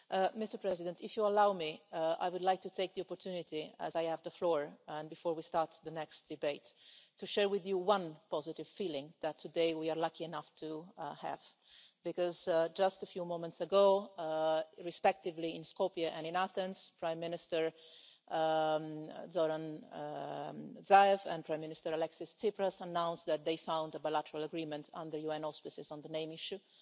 Mr President, if you allow me, I would like to take the opportunity, as I have the floor and before we start the next debate, to share with you one positive feeling that today we are lucky enough to have. Just a few moments ago, respectively in Skopje and in Athens, Prime Minister Zoran Zaev and Prime Minister Alexis Tsipras announced that they had found a bilateral agreement, under UN auspices, on the name issue.